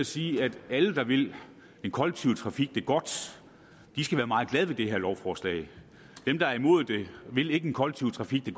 sige at alle der vil den kollektive trafik det godt skal være meget glade ved det her lovforslag dem der er imod det vil ikke den kollektive trafik det